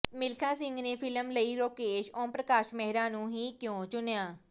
ਮਿਲਖਾ ਸਿੰਘ ਨੇ ਫ਼ਿਲਮ ਲਈ ਰਾਕੇਸ਼ ਓਮ ਪ੍ਰਕਾਸ਼ ਮਹਿਰਾ ਨੂੰ ਹੀ ਕਿਉਂ ਚੁਣਿਆ